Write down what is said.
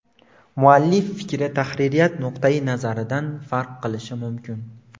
Muallif fikri tahririyat nuqtayi nazaridan farq qilishi mumkin.